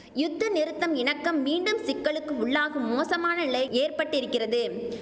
யுத்த நிறுத்தம் இணக்கம் மீண்டும் சிக்கலுக்கு உள்ளாகும் மோசமான நிலை ஏற்பட்டிருக்கிறது